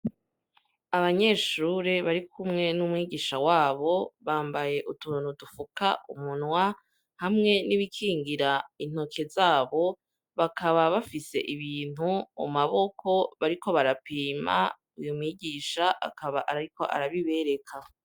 Abanyeshure bari kumwe n'umwigisha wabo bambaye utuntu dufuka umunwa hamwe n'ibikingira intoke zabo bakaba bafise ibintu mu maboko bariko barapima uyo mwigisha akaba arriko arabibereka.